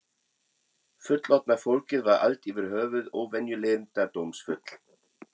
Fullorðna fólkið var allt yfir höfuð óvenju leyndardómsfullt.